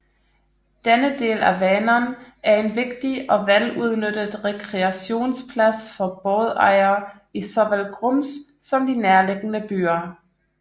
Denne del af Vänern er en vigtig og vel udnyttet rekreationsplads for bådejere i såvel Grums som de nærliggende byer